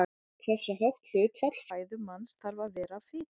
Hversu hátt hlutfall fæðu manns þarf að vera fita?